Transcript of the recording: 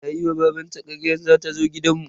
Tayi wa babanta karyan za ta zo gidan mu.